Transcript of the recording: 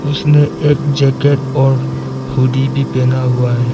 उसने एक जैकेट और हुड्डी भी पहना हुआ है।